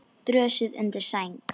Dösuð undir sæng.